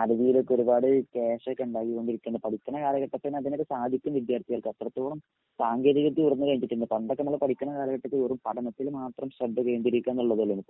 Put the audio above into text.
ആലുവയിലൊക്കെ ഒരുപാട് കാശൊക്കെ ഉണ്ടായികൊണ്ടിരിക്കാണ് പഠിക്കിണ കാലഘട്ടത്തില് അതിനൊക്കെ സാധിക്കും വിദ്യാർത്ഥികൾക്ക്. അത്രത്തോളം സാങ്കേതിക വിദ്യ ഉയർന്നു കഴിഞ്ഞു പിന്നേ പണ്ടൊക്കെ നമ്മള് പഠിക്കിണ കാലഘട്ടത്തില് വെറും പഠനത്തില് മാത്രം ശ്രദ്ധ കേന്ദ്രീകരിക്കുകാന്നുള്ളതൊള്ളൂ. ഇപ്പൊ